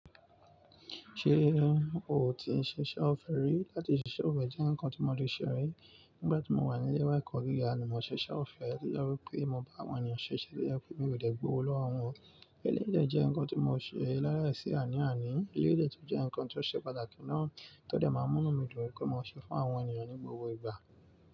Ṣé o ti ṣiṣẹ̀ ọ́fẹ̀ rí? Láti ṣiṣẹ̀ ọ́fẹ̀ jẹ́ ǹkan tí mọ dé ṣe rí. Nígbà tí mo wà nílé ẹ̀kọ́ gíga ni mo ṣiṣẹ́ ọ̀fẹ́, tí ó jẹ́ wí pé mo bá àwọn ènìyàn ṣiṣẹ̀ tó jẹ́ wípé mi ò dẹ̀ gbowó lọ́wọ́ wọn. Eléyìí dẹ̀ jẹ́ nǹkan tí mo ṣe l'áláìsí áníàní. Eléyìí dẹ̀ tún jẹ́ nǹkan tó ṣe pàtàkì náà tó dẹ̀ máa ń múnú mí dùn wípé mò ń ṣe fún àwọn ènìyàn ní gbogbo ìgbà.